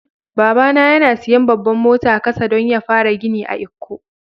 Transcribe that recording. Baba na yana siyan babban motan kasa dan ya fara gini a lkko.